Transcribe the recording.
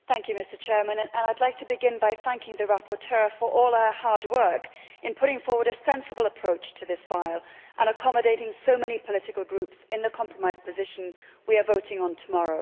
Mr President, I would like to begin by thanking the rapporteur for all her hard work in putting forward a sensible approach to this file and accommodating so many political groups in the compromise position we are voting on tomorrow.